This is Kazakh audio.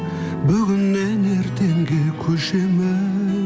бүгіннен ертеңге көшемін